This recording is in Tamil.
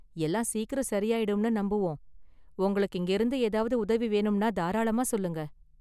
எல்லாம் சீக்கிரம் சரியாயிடும்னு நம்புவோம், உங்களுக்கு இங்கயிருந்து ஏதாவது உதவி வேணும்னா தாராளமா சொல்லுங்க.​